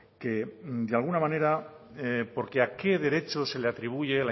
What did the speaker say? que de alguna manera porque a qué derecho se le atribuye